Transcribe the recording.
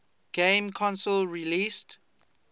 game console released